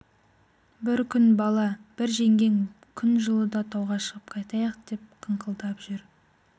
бір күн бала бір жеңгең күн жылыда тауға шығып қайтайық деп қыңқылдап жүр